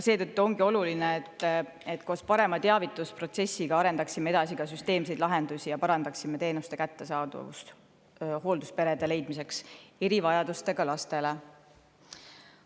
Seetõttu ongi oluline, et koos parema teavitusprotsessiga arendaksime edasi ka süsteemseid lahendusi ja parandaksime teenuste kättesaadavust hooldusperede leidmiseks erivajadustega lastele.